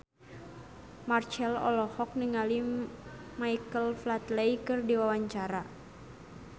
Marchell olohok ningali Michael Flatley keur diwawancara